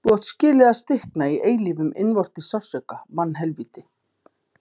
Þú átt skilið að stikna í eilífum innvortis sársauka, mannhelvíti.